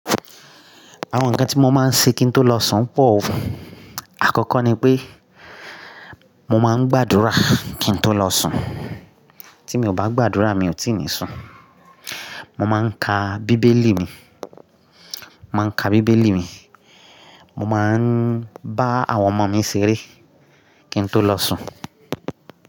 Àwọn ǹkan tí mo máa ń ṣe kí n tó lọ sùn pọ̀ o. Àkọ́kọ́ ni pé mo máa ń gbàdúrà kí n tó lọ sùn, tí mi ò bá gbàdúrà mi ò tíì ní sùn. Mo máa ń ka bíbélì mi, mo máa ń ka bíbélì mi, mo máa ń bá àwọn ọmọ mi ṣeré kí n tó lọ sùn.